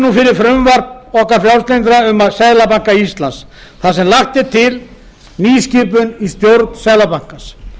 nú fyrir frumvarp okkar frjálslyndra um seðlabanka íslands þar sem lögð er til nýskipan í stjórn seðlabankans